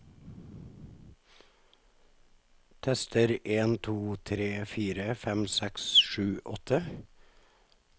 Tester en to tre fire fem seks sju åtte